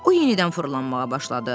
O yenidən fırlanmağa başladı.